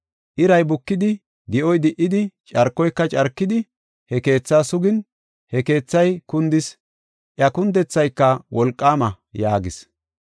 Iray bukidi, di7oy di77idi, carkoyka carkidi, he keethaa sugin, he keethay kundis; iya kundethayka wolqaama” yaagis.